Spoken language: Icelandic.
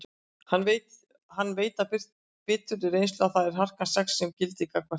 Hann veit af biturri reynslu að það er harkan sex sem gildir gagnvart þeim.